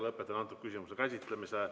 Lõpetan selle küsimuse käsitlemise.